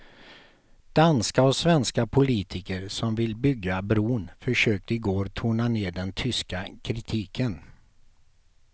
Danska och svenska politiker som vill bygga bron försökte igår tona ned den tyska kritiken.